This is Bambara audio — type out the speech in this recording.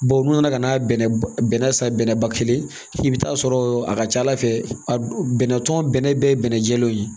Baw n'u nana ka na bɛnɛ bɛnɛ san bɛnɛ ba kelen i bi t'a sɔrɔ a ka ca ala fɛ a bɛnɛ tɔn bɛnɛ bɛɛ ye bɛnɛ jɛlen ye